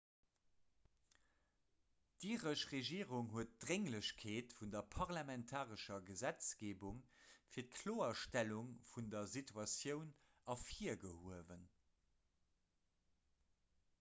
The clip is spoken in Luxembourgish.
d'iresch regierung huet d'drénglechkeet vun der parlamentarescher gesetzgeebung fir d'kloerstellung vun der situatioun ervirgehuewen